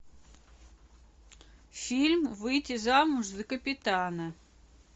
фильм выйти замуж за капитана